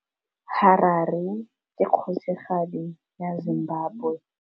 Harare ke kgosigadi ya Zimbabwe.